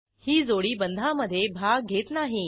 ही जोडी बंधामध्ये भाग घेत नाही